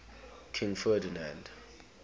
king ferdinand